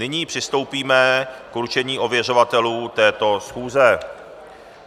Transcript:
Nyní přistoupíme k určení ověřovatelů této schůze.